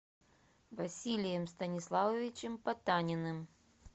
василием станиславовичем потаниным